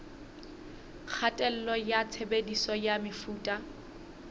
kgatello ya tshebediso ya mefuta